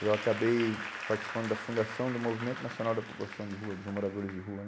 Eu acabei participando da Fundação do Movimento Nacional da População de Rua, dos Moradores de Rua.